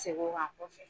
Segu kan kɔfɛ